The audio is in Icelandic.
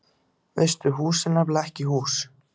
Veistu, hús er nefnilega ekki bara hús.